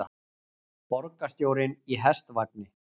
Borgarstjórinn í hestvagni